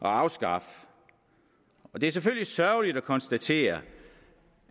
afskaffe det er selvfølgelig sørgeligt at konstatere